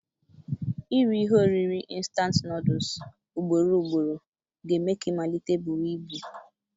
Iri ihe oriri ịntanetị nọọdụs ugborugboro ga-eme ka ị malite buwa ibu.